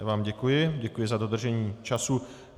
Já vám děkuji, děkuji za dodržení času.